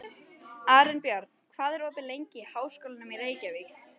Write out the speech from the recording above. Arinbjörn, hvað er opið lengi í Háskólanum í Reykjavík?